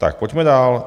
Tak pojďme dál.